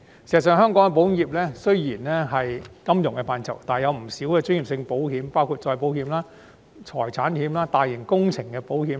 事實上，香港保險業雖然屬於金融範疇，但也有不少專業性保險，包括再保險、財險、產險及大型工程保險。